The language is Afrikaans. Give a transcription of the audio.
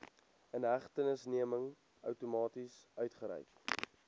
inhegtenisneming outomaties uitgereik